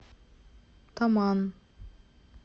таман